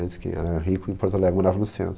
Antes quem era rico em Porto Alegre, morava no centro.